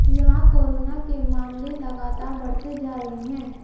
यहां कोरोना के मामले लगातार बढ़ते जा रहे हैं